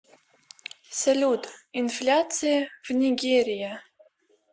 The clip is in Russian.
салют инфляция в нигерия